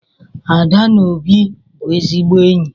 Ada na Obi bụ ezigbo enyi.